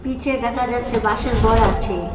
নীচে দেখা যাচ্ছে বাঁশের ঘর আছে।